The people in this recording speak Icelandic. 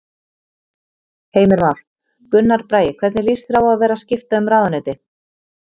Heimir Már: Gunnar Bragi hvernig líst þér á að vera skipta um ráðuneyti?